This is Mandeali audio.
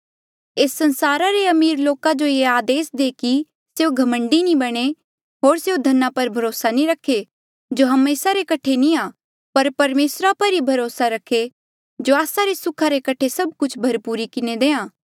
एस संसार रे अमीर लोका जो ये आदेस दे कि स्यों घमंडी नी बणे होर स्यों धना पर भरोसा नी रखे जो हमेसा रे कठे नी आ पर परमेसरा पर ई भरोसा रखे जो आस्सा रे सुखा रे कठे सभ कुछ भरपूरी किन्हें देहां